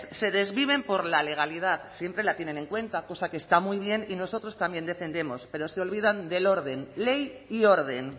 se desviven por la legalidad siempre la tienen en cuenta cosa que está muy bien y nosotros también defendemos pero se olvidan del orden ley y orden